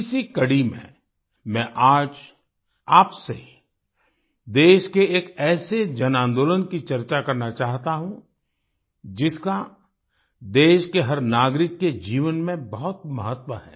इसी कड़ी में मैं आज आपसे देश के एक ऐसे जनआंदोलन की चर्चा करना चाहता हूँ जिसका देश के हर नागरिक के जीवन में बहुत महत्व है